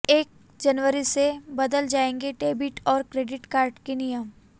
एक जनवरी से बदल जाएंगे डेबिट और क्रेडिट कार्ड के नियम